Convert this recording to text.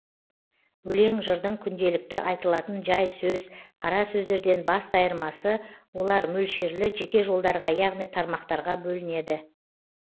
өлең жырдың күнделікті айтылатын жай сөз қара сөздерден басты айырмасы олар мөлшерлі жеке жолдарға яғни тармақтарға бөлінеді